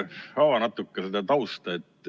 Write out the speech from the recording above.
Ava natukene seda tausta.